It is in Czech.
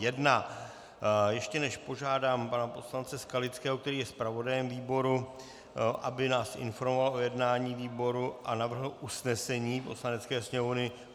Ještě než požádám pana poslance Skalického, který je zpravodajem výboru, aby nás informoval o jednání výboru a navrhl usnesení Poslanecké sněmovny.